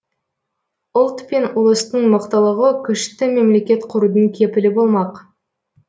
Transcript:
ұлт пен ұлыстың мықтылығы күшті мемлекет құрудың кепілі болмақ